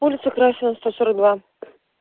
улица красина сто сорок два